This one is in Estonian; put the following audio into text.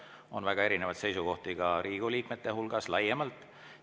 On väga erinevaid seisukohti ka Riigikogu liikmete hulgas laiemalt.